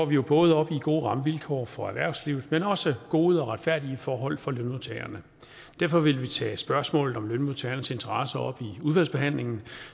vi jo både op i gode rammevilkår for erhvervslivet men også i gode og retfærdige forhold for lønmodtagerne derfor vil vi tage spørgsmålet om lønmodtagernes interesser op i udvalgsbehandlingen